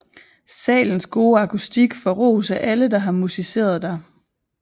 Salens gode akustik får ros af alle der har musiceret dér